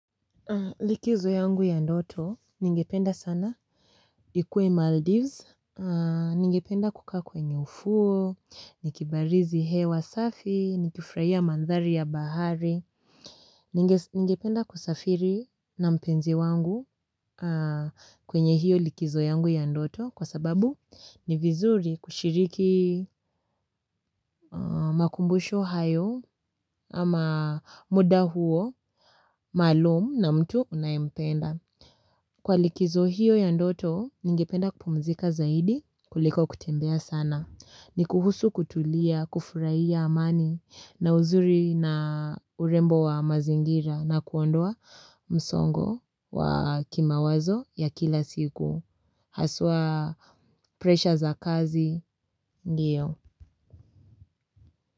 Likizo yangu ya ndoto ningependa sana ikuwe maldise ningependa kukaa kwenye ufuo nikibarizi hewa safi nikifurahia mandhari ya bahari. Ningependa kusafiri na mpenzi wangu kwenye hiyo likizo yangu ya ndoto kwa sababu ni vizuri kushiriki makumbusho hayo ama muda huo malumu na mtu unaempenda. Kwa likizo hiyo ya ndoto, ningependa kupumzika zaidi kuliko kutembea sana. Ni kuhusu kutulia, kufurahiya amani na uzuri na urembo wa mazingira na kuondoa msongo wa kimawazo ya kila siku. Haswa pressure za kazi ndio.